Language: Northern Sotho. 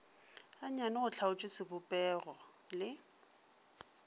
gannyane go hlaotšwe sebopego le